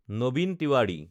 Nabin Tewari